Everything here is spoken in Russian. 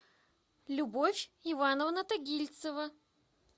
любовь ивановна тагильцева